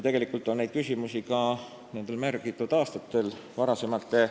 Tegelikult on neid küsimusi varasematel aastatel mitme eelnõu raames käsitletud ka siin saalis ja siis debatt läbi tehtud.